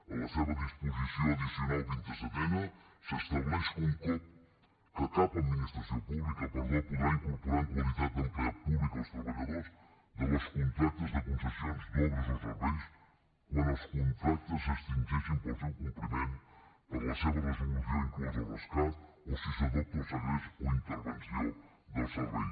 a la seva disposició addicional vint i setena s’estableix que cap administració pública podrà incorporar en qualitat d’empleat públic els treballadors de les contractes de concessions d’obres o serveis quan els contractes s’extingeixin pel seu compliment per la seva resolució inclosa el rescat o si s’adopta el segrest o intervenció del servei